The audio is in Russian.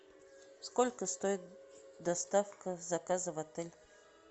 сколько стоит доставка заказа в отель